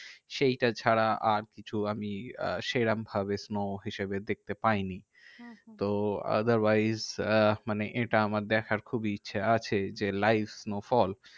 সেইটা ছাড়া আরকিছু আমি আহ সেরম ভাবে snow হিসেবে দেখতে পাইনি। হম হম তো otherwise আহ মানে এটা আমার দেখার খুবই ইচ্ছা আছে যে, live snowfall.